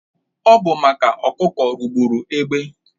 Ọ bụ maka ọkụkọ rụgbụrụ egbe